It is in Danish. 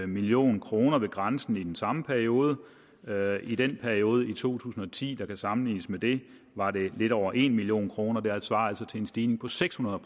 million kroner ved grænsen i den samme periode i den periode i to tusind og ti der kan sammenlignes med det var det lidt over en million kroner det svarer altså til en stigning på seks hundrede